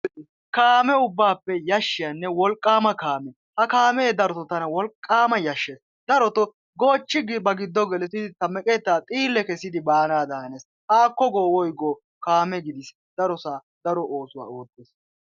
kaame ubaappe yashiyaanne wolqaama kaame, tana darotto wolqaama yashees, darotoo goochchi ba giddo gelisidi ta meqetaa xiile kessidi baanaadan hanees, haakko go woygoo kaamee darosaa daro oosuwa oottees,